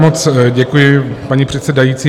Moc děkuji, paní předsedající.